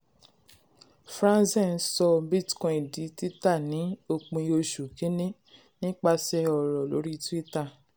franzen sọ bitcoin di títà ní òpin oṣù kìíní nípasẹ̀ ọ̀rọ̀ lórí twitter.